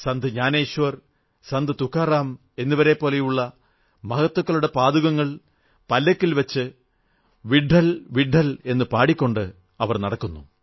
സന്ത് ജ്ഞാനേശ്വർ സന്ത് തുക്കാറാം എന്നിവരെപ്പോലുള്ള മഹത്തുക്കളുടെ പാദുകങ്ങൾ പല്ലക്കിൽ വച്ച് വിട്ഠൽ വിട്ഠൽ എന്നു പാടിക്കൊണ്ട് നടക്കുന്നു